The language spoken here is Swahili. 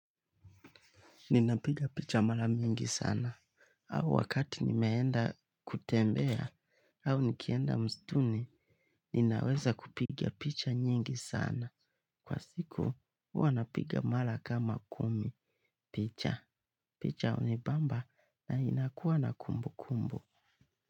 Ninapiga picha mara mingi sana. Au wakati nimeenda kutembea, au nikienda msituni, ninaweza kupiga picha nyingi sana. Kwa siku, huwa napiga mara kama kumi. Picha. Picha huni bamba na ninakuwa na kumbu kumbu.